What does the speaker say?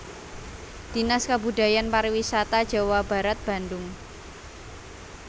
Dinas Kebudayaan Pariwisata Jawa Barat Bandung